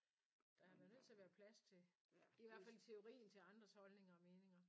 Der er da nødt til at være plads til i hvert fald i teorien til andres holdninger og meninger